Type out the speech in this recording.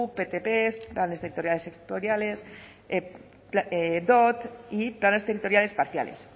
pgu ptp planes territoriales sectoriales dot y planes territoriales parciales